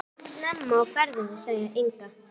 Þú ert snemma á ferðinni, sagði Inga.